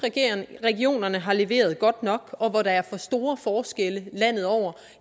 regionerne har leveret godt nok og hvor der er for store forskelle landet over